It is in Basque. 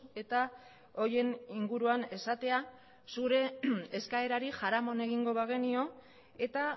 eta horien inguruan esatea zure eskaerari jaramon egingo bagenio eta